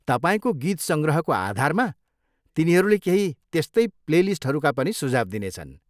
तपाईँको गीत सङ्ग्रहको आधारमा, तिनीहरूले केही त्यस्तै प्लेलिस्टहरूका पनि सुझाव दिनेछन्।